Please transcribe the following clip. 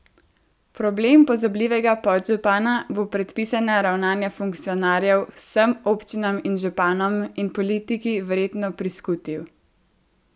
Problem pozabljivega podžupana bo predpisana ravnanja funkcionarjev vsem občinam in županom in politiki verjetno priskutil.